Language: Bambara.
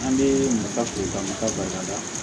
An bɛ nafa to nafa ba la